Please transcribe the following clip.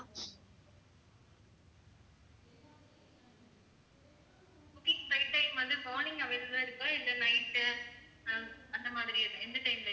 booking flight time வந்து morning available ஆ இருக்கா இல்லை night ஆஹ் அந்த மாதிரி எந்த time ல